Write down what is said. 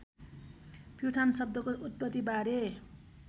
प्युठान शब्दको उत्पत्तिबारे